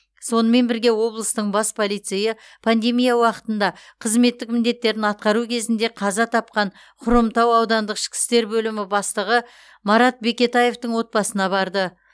сонымен бірге облыстың бас полицейі пандемия уақытында қызметтік міндеттерін атқару кезінде қаза тапқан хромтау ауданық ішкі істер бөлімі бастығы марат бекетаевтың отбасына барды